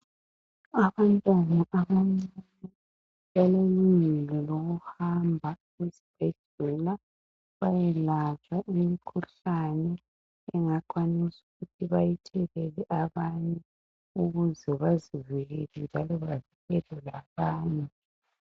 Abantwana abancane balelungelo loku hamba esibhedlela bayelatshwa imikhuhlane engakwanisa ukuthi bayithelela abanye ukuze bazivikele njalo bavikele labanye .